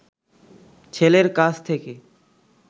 ছেলের কাছ থেকে